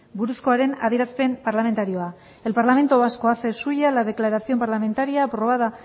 buruzkoaren adierazpen parlamentarioa el parlamento vasco hace suya la declaración parlamentaria aprobada